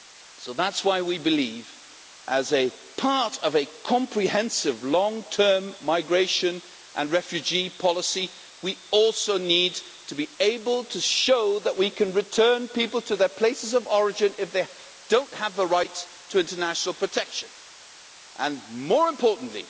So that is why we believe that, as part of a comprehensive long term migration and refugee policy, we also need to be able to show that we can return people to their places of origin if they do not have the right to international protection and, more importantly,